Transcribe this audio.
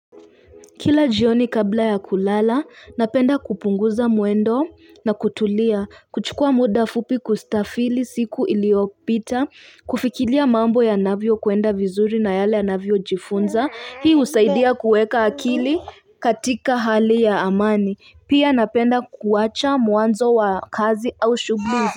Kila jioni kabla ya kulala, napenda kupunguza mwendo na kutulia, kuchukua muda fupi kustafili siku iliopita, kufikilia mambo yanavyo kwenda vizuri na yale ya navio jifunza, hii usaidia kueka akili katika hali ya amani. Pia napenda kuwacha muanzo wa kazi au shubu.